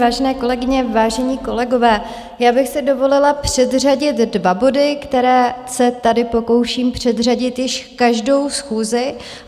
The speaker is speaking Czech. Vážené kolegyně, vážení kolegové, já bych si dovolila předřadit dva body, které se tady pokouším předřadit již každou schůzi.